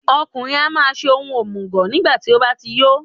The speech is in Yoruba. Ọkùnrin á máa ṣe ohun òmùgọ̀ nígbàtí ó bá ti yó.